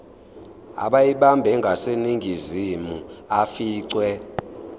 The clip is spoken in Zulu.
abeyibambe ngaseningizimu aficwe